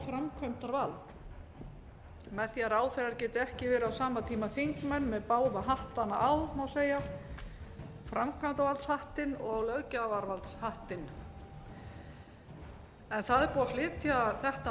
framkvæmdarvald með því að ráðherrar geti ekki verið á sama tíma þingmenn með báða hattana á má segja framkvæmdarvaldshattinn og löggjafarvaldshattinn það er búið að flytja þetta